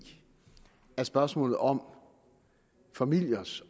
spørgsmålet om familiers